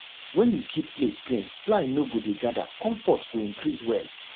when you keep place clean fly no go dey gather comfort go increase well